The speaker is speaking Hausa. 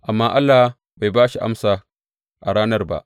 Amma Allah bai ba shi amsa a ranar ba.